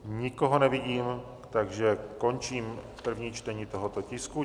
Nikoho nevidím, takže končím první čtení tohoto tisku.